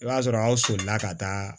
I b'a sɔrɔ aw solila ka taa